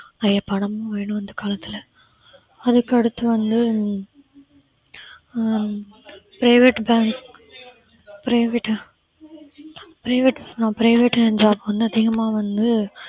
பணமும் வேணும் இந்த காலத்துல அதுக்கு அடுத்து வந்து அஹ் private bank private ஆஹ் private job private job வந்து அதிகமா வந்து